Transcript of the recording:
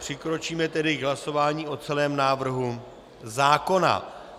Přikročíme tedy k hlasování o celém návrhu zákona.